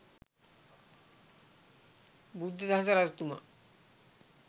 බුද්ධදාස රජතුමා